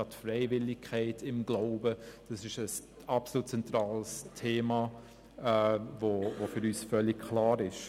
Gerade die Freiwilligkeit im Glauben ist ein absolut zentrales Thema, das für uns völlig klar ist.